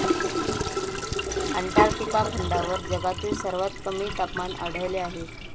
Antarctica खंडावर जगातील सर्वात कमी तापमान आढळले आहे.